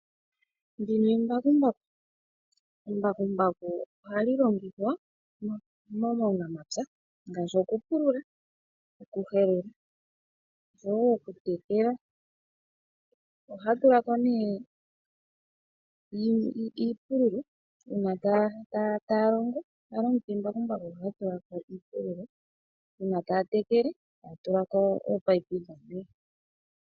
Embakumbaku ohali longithwa muunamapya ngaashi okupulula, okuhelela noshow o okutekela. Ohaya tula ko nduno omatemo uuna taya longitha embakumbaku okupulula, uuna taya tekele taya tula ko oopayipi dhokutekela.